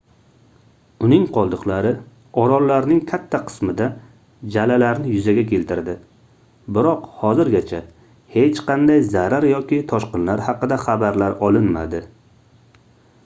uning qoldiqlari orollarning katta qismida jalalarni yuzaga keltirdi biroq hozirgacha hech qanday zarar yoki toshqinlar haqida xabarlar olinmadi